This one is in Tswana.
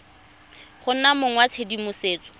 go nna mong wa tshedimosetso